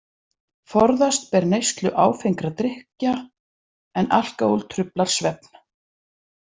Forðast ber neyslu áfengra drykkja, en alkóhól truflar svefn.